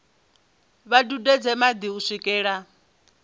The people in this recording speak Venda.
vha dudedze madi u swikela